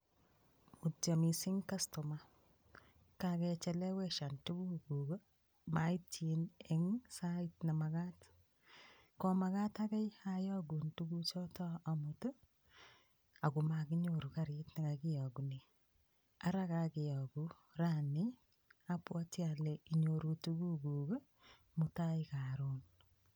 Mutyo mising' kastoma kakecheleweshan tukukuk maityin eng' sait nemakat komakat agei ayokun tukuchoto amut akomakinyoru karit nekakiyokune ara kakeyoku raini abwoti ale inyoru tukuk mutai karon